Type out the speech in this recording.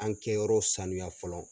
An kɛyɔrɔ sanuya fɔlɔ.